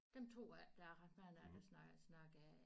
Dem tror jeg ikke der er ret mange af der snak snakker